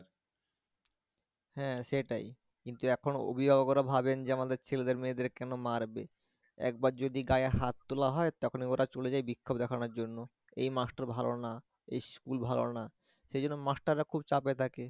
হ্যাঁ সেটাই কিন্তু এখন অভিভাবকরা ভাবেন যে, আমাদের ছেলেদের মেয়েদের কেন মারবে? একবার যদি গায়ে হাত তোলা হয় তারপরে ওরা চলে যায় বিক্ষোভ দেখানোর জন্য, এই master রা ভালো না এই school ভালো না সেইজন্য master রা খুব চাপে থাকে